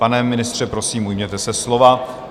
Pane ministře, prosím, ujměte se slova.